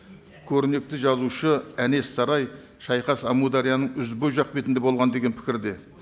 көрнекті жазушы әнес сарай шайқас амудәрияның ізбой жақ бетінде болған деген пікірде